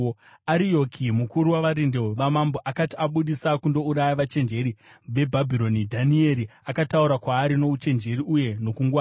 Arioki, mukuru wavarindi vamambo, akati abudisa kundouraya vachenjeri veBhabhironi, Dhanieri akataura kwaari nouchenjeri uye nokungwara.